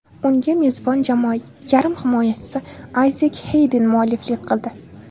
Unga mezbon jamoa yarim himoyachisi Ayzek Xeyden mualliflik qildi.